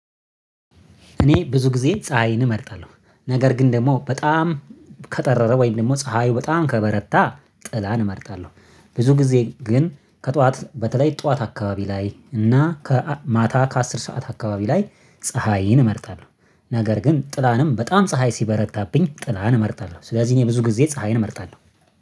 እኔ ብዙ ጊዜ ፀሀይን እመርጣለሁ ነገር ግን ደግሞ በጣም ከጠረረ ወይም ደግሞ ፀሀዩ በጣም ከበረታ ጥላን እመርጣለሁ። ብዙ ጊዜ ግን ከጠዋት በተለይ ጠዋት አካባቢ ላይ እና ከማታ ከአስር ሰዓት አካባቢ ላይ ፀሀይን እመርጣለሁ። ነገር ግን ጥላንም በጣም ፀሀይ ሲበረታብኝ ጥላን እመርጣለሁ ስለዚህ እኔ ብዙ ጊዜ ፀሀይን እመርጣለሁ